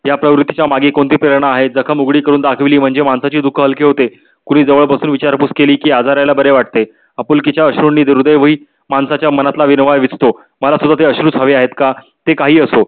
या प्रवृत्ती च्या मागे कोणती प्रेरणा आहे. जखम उघडी करून दाखवली म्हणजे माणसाचे दुख हलके होते. कुणी जवळ बसून विचार पुस केली की आजाऱ्याला बरे वाटे. आपुलकीच्या अश्रु नि ह्रदय होई माणसाच्या मनातल वणवा विजहतो. मला सुद्धा ते अश्रु च हवे आहेत का ते काही असो.